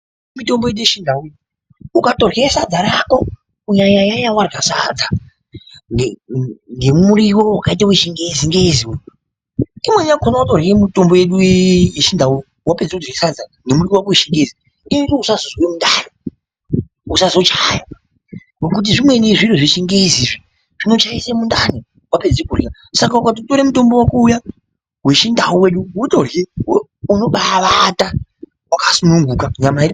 Mitombo yedu yechindau iyi, ukatodyra sadza rako. Kunyanya nyanya wadyra sadza ne ne nemuriwo wakaita wechingezi ngezi. Imweni yakhona watodyra mitombo yedu iyi yechindau wapedza kudyra sadza nemuriwo wako wechingezi inoita usazozwa mundani. Uzazochaya. Ngekuti zvimweni zviro zvechingezi izvi zvinochaisa mundani wapedza kudyra. Saka ukatotora mutombo wedu uyaa wechindau wedu wotodyra unobaawata wakasununguka nyama iri.